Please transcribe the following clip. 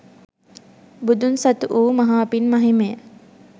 බුදුන් සතු වූ මහා පින් මහිමය